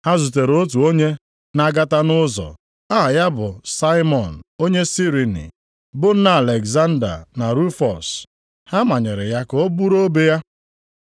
Ha zutere otu onye na-agata nʼụzọ, aha ya bụ Saimọn, onye Sirini, bụ nna Alegzanda na Rufọs. Ha manyere ya ka o buru obe ya.